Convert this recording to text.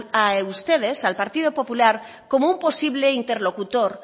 a ustedes al partido popular como un posible interlocutor